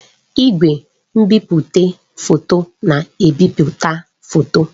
Igwe nbipute foto na-ebipụta foto.